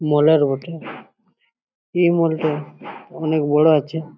মল -এর বটে। এই মল টা অনেক বড় আছে।